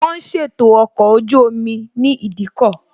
Wón ń ṣètò ọkọ̀ ojú omi ní ìdíkọ̀